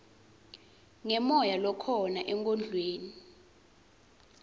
ngemoya lokhona enkondlweni